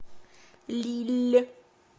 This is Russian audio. лилль